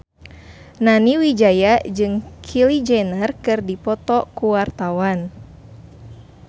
Nani Wijaya jeung Kylie Jenner keur dipoto ku wartawan